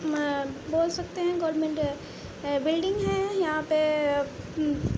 म बोल सकते हैं गोल्नमेंट -अ अ-बिल्डिंग है। यहाँ पे म् --